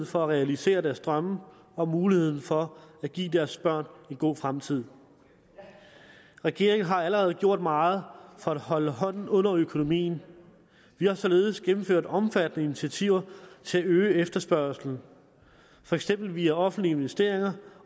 for at realisere deres drømme og muligheden for at give deres børn en god fremtid regeringen har allerede gjort meget for at holde hånden under økonomien vi har således gennemført omfattende initiativer til at øge efterspørgslen for eksempel via offentlige investeringer